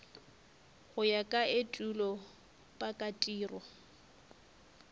go ya ka etulo pakatiro